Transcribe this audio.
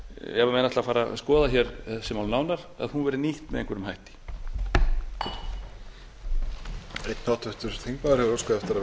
ef menn ætla að fara að skoða hér þessi mál nánar að hún verði nýtt með einhverjum hætti